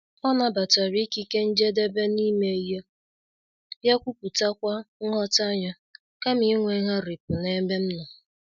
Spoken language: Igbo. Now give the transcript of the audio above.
Ọ nabatara ikike njedebe n'ime ihe, bịa kwuputakwa nghọta ya, kama inwe ngharipu n'ebe m nọ.